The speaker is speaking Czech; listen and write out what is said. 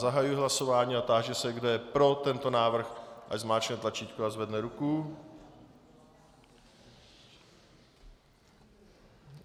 Zahajuji hlasování a táži se, kdo je pro tento návrh, ať zmáčkne tlačítko a zvedne ruku.